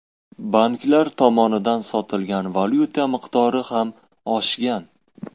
Banklar tomonidan sotilgan valyuta miqdori ham oshgan.